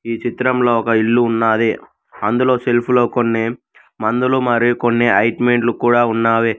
ఈ చిత్రంలో ఒక ఇల్లు ఉన్నాది అందులో సెల్ఫ్ లో కొన్ని మందులు మరియు కొన్ని ఆయింట్మెంట్లు కూడా ఉన్నావి.